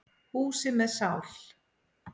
Húsi með sál.